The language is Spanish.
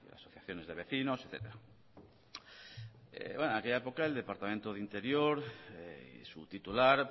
asociaciones de vecinos etcétera en aquella época el departamento de interior y su titular